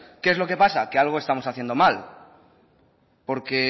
qué es lo que pasa que algo estamos haciendo mal porque